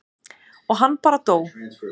og hann bara dó.